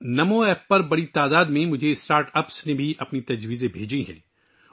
start ups کی ایک بڑی تعداد نے بھی مجھے نمو ایپ پر اپنی تجاویز بھیجی ہیں